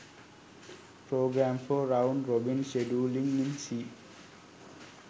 program for round robin scheduling in c